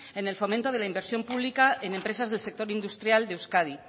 en el fomento de la inversión pública en empresas del sector industrial de euskadi